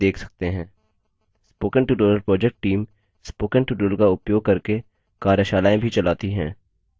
spoken tutorial project team spoken tutorial का उपयोग करके कार्यशालाएँ भी चलाती है